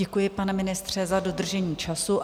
Děkuji, pane ministře, za dodržení času.